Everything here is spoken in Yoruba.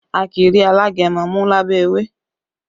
A kì í rí alágẹmọ mú lábẹ́ ewé